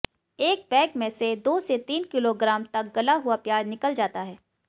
एक बैग में से दो से तीन किलोग्राम तक गला हुआ प्याज निकल जाता है